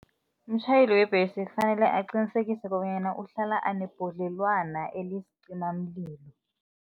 Umtjhayeli webhesi kufanele aqinisekise kobanyana uhlala anebhodlelwana elisicimamlilo.